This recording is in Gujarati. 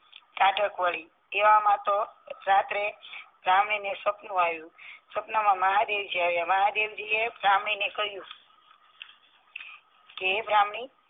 ટાઢક વળી એવામાં તો રાત્રે બ્રાહ્મણી ને સપનુ આવ્યું સપનામાં મહાદેવજી આવ્યા મહાદેવજી એ બ્રાહ્મણીને કહીંયુ કે હે બ્રાહ્મણી